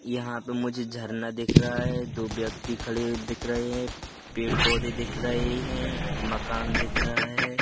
यहां पे मुझे झरना दिख रहा है दो व्यक्ति खडे दिख रहे हैं पेड़ पौधे दिख रहे हैं मकान दिख रहा है।